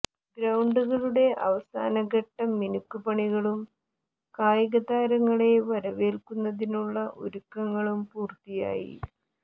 ഗ്രൌണ്ടുകളുടെ അവസാനഘട്ട മിനുക്ക് പണികളും കായിക താരങ്ങളെ വരവേല്ക്കുന്നതിനുള്ള ഒരുക്കങ്ങളും പൂര്ത്തിയായി